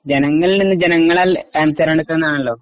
ജനങ്ങളിൽ നിന്ന് ജനങ്ങളാൽ തെരെഞ്ഞെടുക്കുന്നതാണല്ലോ